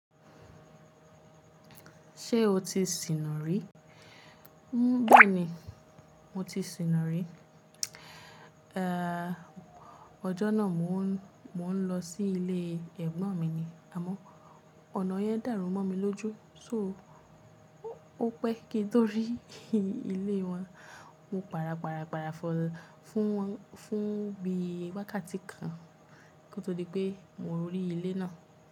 Ṣé o ti sìnà rí? Béèni, mo ti sìnà rí. Ọjọ́ náà mò ń, mò ń lọ sí ilé Ẹ̀gbọ́n mi ni, àmọ́ ọ̀nà yẹn dàrú mọ́ mi lójú. So ó pẹ́ kí n tó rí ilé wọn. Mo para para para fọ̀ fún wọn, fún bí wákàtí kan kí ó tó di pé mo rí ilé náà.